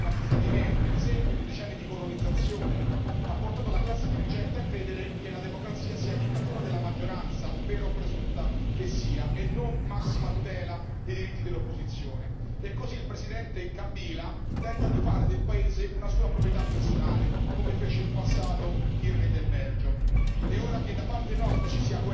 Purtroppo, in molti paesi ex colonie dei nostri Stati membri l'esempio di dieci anni di colonizzazione ha portato la classe dirigente a credere che la democrazia sia dittatura della maggioranza, vera o presunta che sia, e non massima tutela dei diritti dell'opposizione, e così il Presidente Kabila tenta di fare del paese una sua proprietà personale, come fece in passato il re del Belgio.